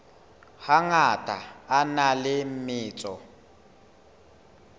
hangata a na le metso